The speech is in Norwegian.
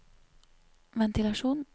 ventilasjon